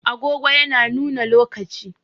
Agogo yana nuna lokaci.